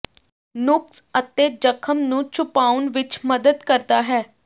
ਨੁਕਸ ਅਤੇ ਜ਼ਖ਼ਮ ਨੂੰ ਛੁਪਾਉਣ ਵਿਚ ਮਦਦ ਕਰਦਾ ਹੈ